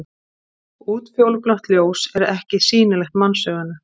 Útfjólublátt ljós er ekki sýnilegt mannsauganu.